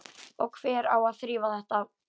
Og hver á að þrífa þetta?